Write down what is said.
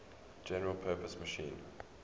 general purpose machine